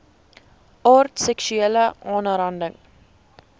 aard seksuele aanranding